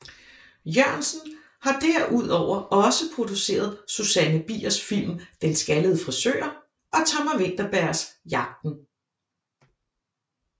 Jørgensen har derudover også produceret Susanne Biers film Den Skaldede Frisør og Thomas Vinterbergs Jagten